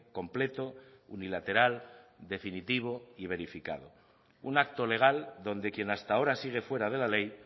completo unilateral definitivo y verificado un acto legal donde quien hasta ahora sigue fuera de la ley